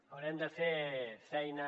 haurem de fer feina